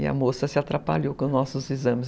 E a moça se atrapalhou com os nossos exames.